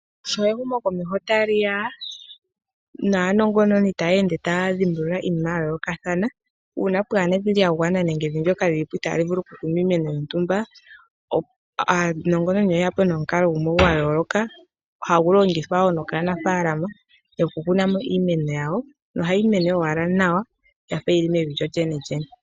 Sho ehumo komeho tali liya naanongononi taya ende taya dhimbulula iinima ya yoolokathana, uuna pwaana evi lya gwana nenge evi ndyoka lyili po itali vulu ku kunwa iimeno yontumba, aanongononi oyeya po nomukalo gumwe gwayooloka hagu longithwa wo nokaanafalama okukuna iimweno yawo, nohayi mene ashike nawa yafa yili mevi lyo lyenelyene.